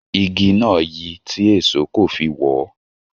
Igi náà yi tí èṣó kò fi wọ ọ́